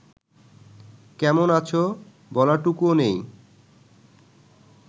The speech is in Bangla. কেমন আছ বলাটুকুও নেই